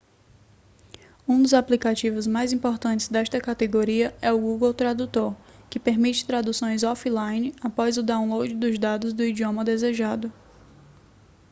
um dos aplicativos mais importantes desta categoria é o google tradutor que permite traduções off-line após o download dos dados do idioma desejado